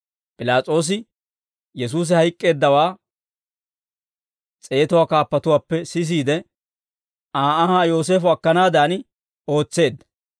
P'ilaas'oosi Yesuusi hayk'k'eeddawaa s'eetuwaa kaappuwaappe sisiide, Aa anhaa Yooseefo akkanaadan ootseedda.